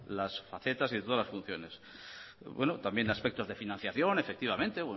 las facetas y de todas las funciones también aspectos de financiación efectivamente